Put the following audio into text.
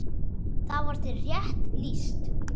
Þar var þér rétt lýst!